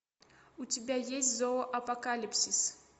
у тебя есть зоо апокалипсис